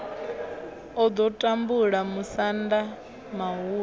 o ḓo tumbula musanda muhulu